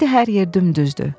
İndi hər yer dümdüzdür.